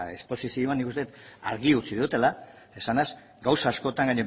eta esposizioan nik uste dut argi utzi dudala esanez gauza askotan